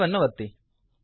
save ಅನ್ನು ಒತ್ತಿ